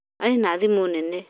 Arĩ na thimũ nene